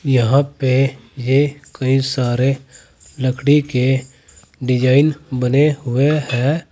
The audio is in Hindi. यहां पे ये कई सारे लकड़ी के डिजाइन बने हुए हैं।